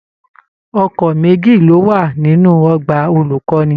Ọkọ méjì ló wà nínú ọgbà olukọni.